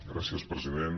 gràcies president